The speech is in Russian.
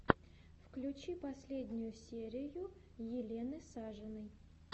включи последнюю серию елены сажиной